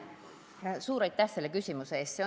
Suur aitäh selle küsimuse eest!